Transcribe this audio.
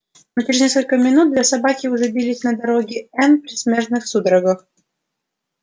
но через несколько минут две собаки уже бились на дороге н предсмертных судорогах